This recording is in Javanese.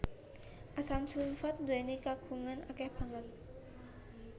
Asam sulfat nduwèni kagunan akèh banget